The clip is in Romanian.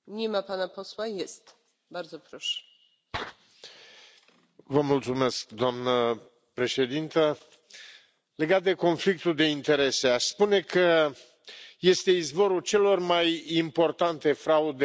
Doamnă președintă, legat de conflictul de interese, aș spune că este izvorul celor mai importante fraude care se petrec în sistemul economic al Uniunii Europene.